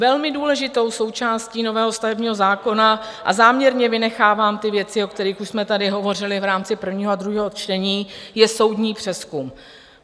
Velmi důležitou součástí nového stavebního zákona - a záměrně vynechávám ty věci, o kterých už jsme tady hovořili v rámci prvního a druhého čtení - je soudní přezkum.